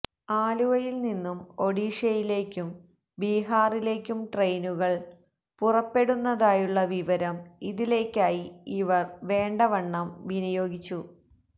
ആലുവയിൽനിന്നും ഒഡിഷയിലേയ്ക്കും ബിഹാറിലേയ്ക്കും ട്രെയിനുകൾ പുറപ്പെടുന്നതായുള്ള വിവരം ഇതിലേയ്ക്കായി ഇവർ വേണ്ടവണ്ണം വിനയോഗിച്ചു